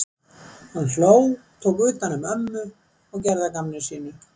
Hann hló, tók utan um ömmu og gerði að gamni sínu.